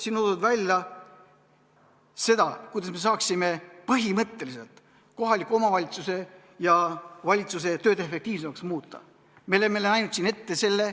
Siin on toodud välja see, kuidas me saaksime põhimõtteliselt kohaliku omavalitsuse ja valitsuse tööd efektiivsemaks muuta.